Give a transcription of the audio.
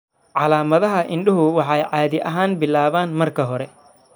Calaamadaha indhuhu waxay caadi ahaan bilaabaan marka hore.